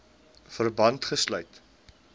verband gesluit